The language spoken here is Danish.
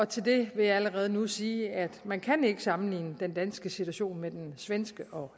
til det vil jeg allerede nu sige at man ikke kan sammenligne den danske situation med den svenske og